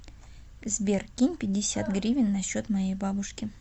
сбер кинь пятьдесят гривен на счет моей бабушки